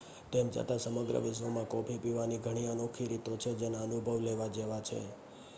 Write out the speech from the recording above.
તેમ છતાં સમગ્ર વિશ્વમાં કૉફી પીવાની ઘણી અનોખી રીતો છે જેના અનુભવ લેવા જેવા છે